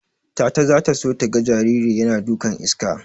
Tata zata so taga jariri yana dukan iska.